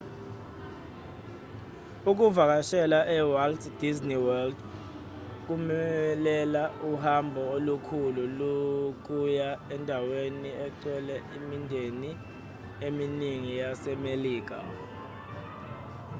ukuvakashela e-walt disney world kumelela uhambo olukhulu lokuya endaweni engcwele emindenini eminingi yasemelika